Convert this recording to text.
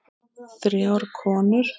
Þrjár konur